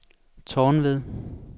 Tornved